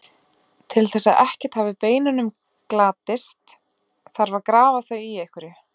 Til þess að ekkert af beinunum glatist þarf að grafa þau í einhverju.